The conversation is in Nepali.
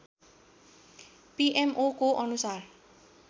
पीएमओको अनुसार